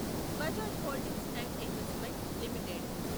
Bajaj holdings and investment limited